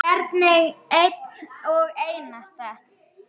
Sölvi: Hvern einn og einasta?